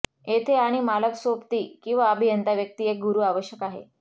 येथे आणि मालक सोबती किंवा अभियंता व्यक्ती एक गुरू आवश्यक आहे